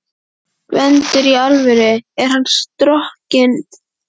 GVENDUR: Í alvöru: Er hann strokinn?